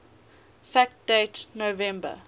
fact date november